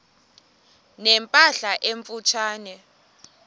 ne mpahla emfutshane